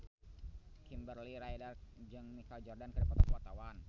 Kimberly Ryder jeung Michael Jordan keur dipoto ku wartawan